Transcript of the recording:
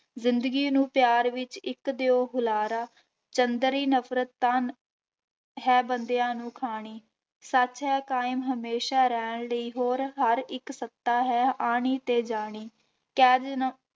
ਜ਼ਿੰਦਗੀ ਨੂੰ ਪਿਆਰ ਵਿੱਚ ਇੱਕ ਦਿਓ ਹੁਲਾਰਾ, ਚੰਦਰੀ ਨਫ਼ਰਤ ਤਾਂ ਹੈ ਬੰਦਿਆਂ ਨੂੰ ਖਾਣੀ, ਸੱਚ ਹੈ ਕਾਇਮ ਹਮੇਸ਼ਾ ਰਹਿਣ ਲਈ ਹੋਰ ਹਰ ਇੱਕ ਸੱਤਾ ਹੈ ਆਉਣੀ ਤੇ ਜਾਣੀ